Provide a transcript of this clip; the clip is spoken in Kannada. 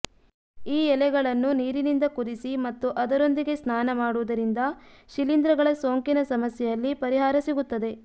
ಈ ಎಲೆಗಳನ್ನು ನೀರಿನಿಂದ ಕುದಿಸಿ ಮತ್ತು ಅದರೊಂದಿಗೆ ಸ್ನಾನ ಮಾಡುವುದರಿಂದ ಶಿಲೀಂಧ್ರಗಳ ಸೋಂಕಿನ ಸಮಸ್ಯೆಯಲ್ಲಿ ಪರಿಹಾರ ಸಿಗುತ್ತದೆ